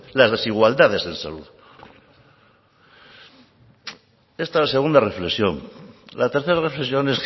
las desigualdades en salud esta es la segunda reflexión la tercera reflexión